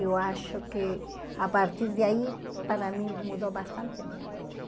Eu acho que, a partir daí, para mim mudou bastante minha vida.